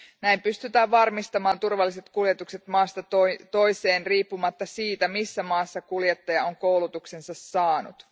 Näin pystytään varmistamaan turvalliset kuljetukset maasta toiseen riippumatta siitä, missä maassa kuljettaja on koulutuksensa saanut.